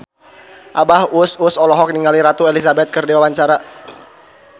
Abah Us Us olohok ningali Ratu Elizabeth keur diwawancara